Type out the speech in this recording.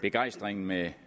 begejstringen med